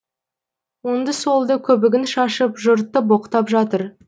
оңды солды көбігін шашып жұртты боқтап жатыр